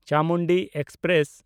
Chamundi express